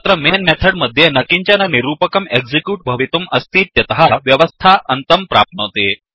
तत्र main method मध्ये न किञ्चन निरूपकं एक्सिक्यूट् भवितुं अस्तीत्यतः व्यवस्था अन्तं प्राप्नोति